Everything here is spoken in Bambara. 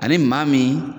Ani maa min